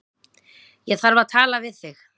Ég þarf að tala við þig